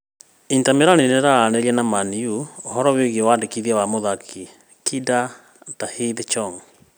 inter Milan nĩararanĩria na Man-U ũhorō wĩgiĩ wandĩkithia wa mũthaki kinda Tahith Chong.